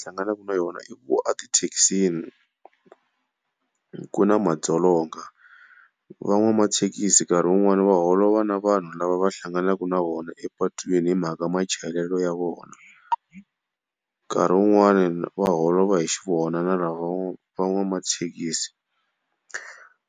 Hlanganaka na yona i ku a tithekisini ku na madzolonga. Van'wamathekisi nkarhi wun'wana va holova na vanhu lava va hlanganaka na wona epatwini hi mhaka machayelelo ya vona. Nkarhi wun'wani va holova hi xi vona na lava van'wamathekisi.